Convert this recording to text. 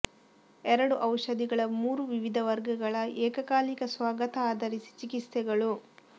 ಎರಡು ಔಷಧಿಗಳ ಮೂರು ವಿವಿಧ ವರ್ಗಗಳ ಏಕಕಾಲಿಕ ಸ್ವಾಗತ ಆಧರಿಸಿ ಚಿಕಿತ್ಸೆಗಳು